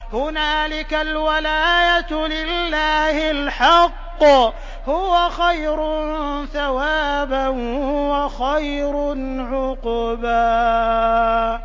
هُنَالِكَ الْوَلَايَةُ لِلَّهِ الْحَقِّ ۚ هُوَ خَيْرٌ ثَوَابًا وَخَيْرٌ عُقْبًا